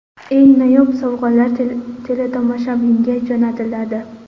Eng noyob sovg‘alar teletomoshabinga jo‘natiladi.